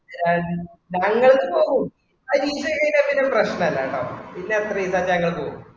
ആഹ് ഞങ്ങൾ പോവും ആ കീയ്ച്എം കഴിഞ്ഞാൽ പിന്നെ പ്രശ്നല്ലാട്ടോ പിന്നെ അത്രേ easy ആയ്ട് ഞങ്ങൾ പോവും